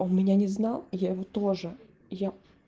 он меня не знал я его тоже я